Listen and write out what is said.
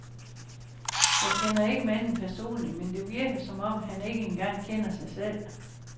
Jeg kender ikke manden personligt, men det virker, som om han ikke engang kender sig selv.